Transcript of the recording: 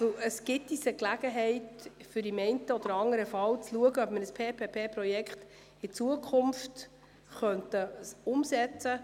Das gibt uns die Gelegenheit, in zukünftigen Fällen die Umsetzung eines PPP-Projekts in Betracht zu ziehen.